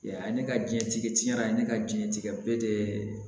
Yan ne ka diɲɛtigɛ tiɲɛna ne ka diɲɛtigɛ bɛɛ de